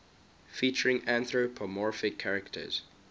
featuring anthropomorphic characters